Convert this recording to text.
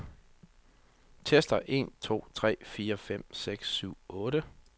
Tester en to tre fire fem seks syv otte.